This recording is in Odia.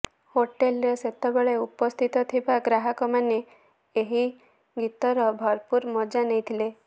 ହୋଟେଲରେ ସେତେବେଳେ ଉପସ୍ଥିତ ଥିବା ଗ୍ରାହକମାନେ ଏହି ଗୀତର ଭରପୁର ମଜା ନେଇଥିଲେ